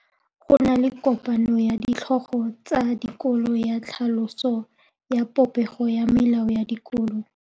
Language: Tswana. Go na le kopanô ya ditlhogo tsa dikolo ya tlhaloso ya popêgô ya melao ya dikolo.